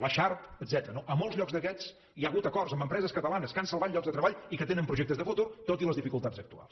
la sharp etcètera no a molts llocs d’aquests hi ha hagut acords amb empreses catalanes que han salvat llocs de treball i que tenen projectes de futur tot i les dificultats actuals